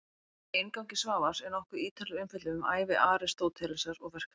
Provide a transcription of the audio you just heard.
Í inngangi Svavars er nokkuð ítarleg umfjöllun um ævi Aristótelesar og verk hans.